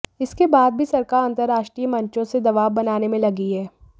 इसके बाद भी सरकार अंतरराष्ट्रीय मंचों से दबाव बनाने में लगी है